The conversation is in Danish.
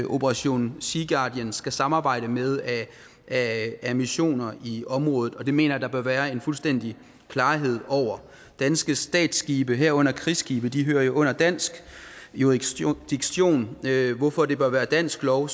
operation sea guardian skal samarbejde med af missioner i området og det mener jeg der bør være en fuldstændig klarhed over danske statsskibe herunder krigsskibe hører jo under dansk jurisdiktion hvorfor det bør være dansk lov